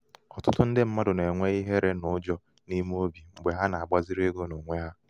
ọtụtụ ndị mmadụ na-enwe ihere na ụjọ n'ime obi mgbé ha na-agbaziri ego n'onwe ha.